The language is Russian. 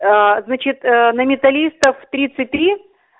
аа значит на металлистов тридцать три